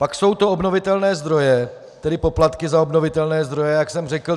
Pak jsou to obnovitelné zdroje, tedy poplatky za obnovitelné zdroje, jak jsem řekl.